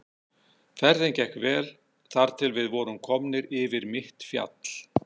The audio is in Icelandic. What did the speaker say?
Ferðin gekk vel þar til við vorum komnir yfir mitt fjall.